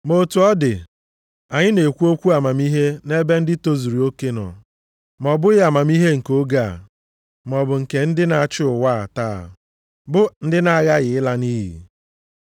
Ma otu ọ dị, anyị na-ekwu okwu amamihe nʼebe ndị tozuru oke nọ. Ma ọ bụghị amamihe nke oge a, maọbụ nke ndị na-achị ụwa taa, bụ ndị na-aghaghị ịla nʼiyi.